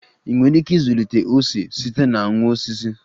Ị nwere ike ịzụlite ose site na nwa osisi?